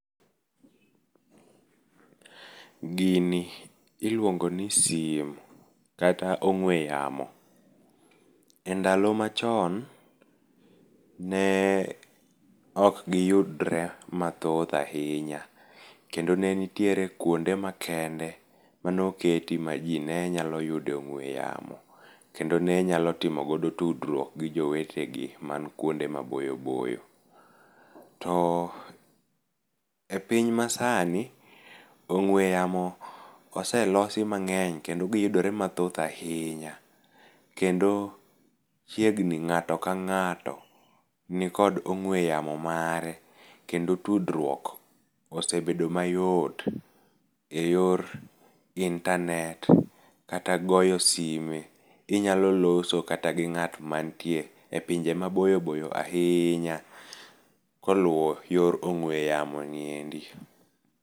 Gini iluongo ni simu kata ongwe yamo e ndalo ma chon ne ok gi yudre ma thoth ahinya kendo ne nitiere kwonde ma kende mano oketi ma ji ne nyalo yudo e ongwe yamo kendo ne nyalo timo godo tudruok gi jo wete gi man kwonde ma boyo boyo to e piny ma sani ongwe yamo ose losi mangeny kendo gi yudore mathoth ahinya kendo chiegni ngato ka ngato ni okd ogwe yamo mare kendo tudruok ose bedo ma yot e yor internet, kata goyo sime inyalo loso kata gi ngato ma nitie e pinje ma boyo boyo ahinya ko lowo e yor ogwe yamo ni e ndi.